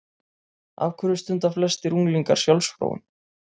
Af hverju stunda flestir unglingar sjálfsfróun?